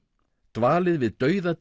dvalið við dauða